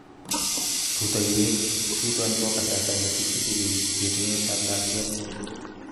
rutoiwek chuton ko kasarta nekichikili yetunet ab lakwetngung